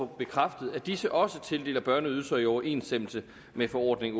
bekræftet at disse også tildeler børneydelser i overensstemmelse med forordning